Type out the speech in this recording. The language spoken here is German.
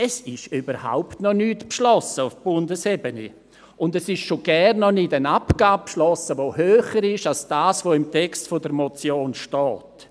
Auf Bundesebene ist überhaupt noch nichts beschlossen, und es ist schon gar nicht eine Abgabe beschlossen, die höher ist als das, was im Text der Motion steht.